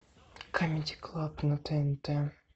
камеди клаб на тнт